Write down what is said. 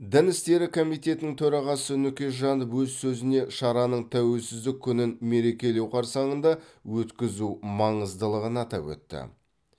дін істері комитетінің төрағасы нүкежанов өз сөзінде шараның тәуелсіздік күнін мерекелеу қарсаңында өткізу маңыздылығын атап өтті